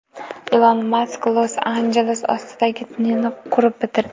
Ilon Mask Los-Anjeles ostidagi tunnelni qurib bitirdi.